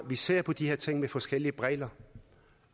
vi ser på de her ting med forskellige briller